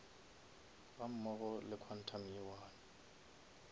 gammogo le quantum ye one